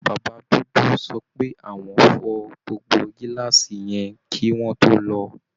Bàbá dúdú sọ pé àwọn fọ gbogbo gíláàsì yẹn kí wọ́n tó lò ó